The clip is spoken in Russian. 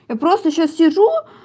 я просто сейчас сижу